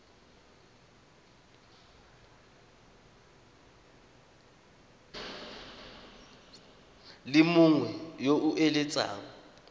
le mongwe yo o eletsang